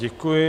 Děkuji.